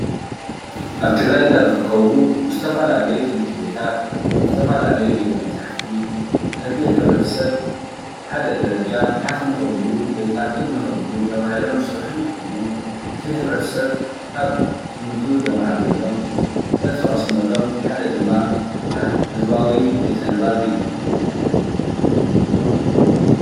ኣብ ትግራይ ካብ ዝርከቡ ዝተፈላለዩ ትምህርቲ ቤታት ዝተፈላለዩ ቤተ መፅሓፍቲ ነቲ ሕብረተሰብ ሓደ ደረጃ ሓፍ ንኸብሉ ወይ ከዓ ካብ ንኸብሉ ተባሂሎም ዝስርሑ እንትኾኑ እቲ ሕብረተሰብ ካብ ትምህርቱ ዘማዕብለሎም፣ ፍልጠት ዝቐስመሎም ሓደ ድማ ህዝባዊ ቤተ ንባብ እዩ።